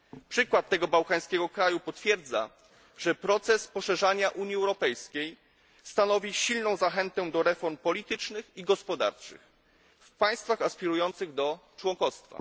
Przykład tego bałkańskiego kraju potwierdza, że proces poszerzania Unii Europejskiej stanowi silną zachętą do reform politycznych i gospodarczych w państwach aspirujących do członkostwa.